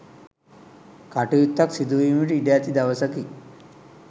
කටයුත්තක් සිදු වීමට ඉඩ ඇති දවසකි.